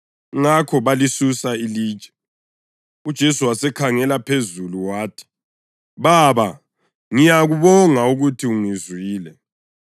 Ngakho balisusa ilitshe. UJesu wasekhangela phezulu wathi, “Baba ngiyakubonga ukuthi ungizwile.